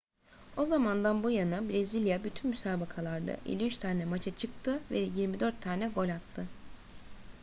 o zamandan bu yana brezilya bütün müsabakalarda 53 tane maça çıktı ve 24 tane gol attı